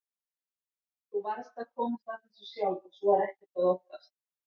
Þú varðst að komast að þessu sjálf og svo er ekkert að óttast.